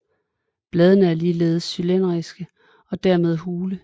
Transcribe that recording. Bladene er ligeledes cylindriske og dermed hule